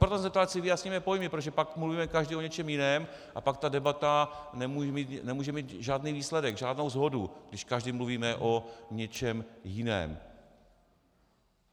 Proto jsem se ptal, ať si vyjasníme pojmy, protože pak mluvíme každý o něčem jiném a pak ta debata nemůže mít žádný výsledek, žádnou shodu, když každý mluvíme o něčem jiném.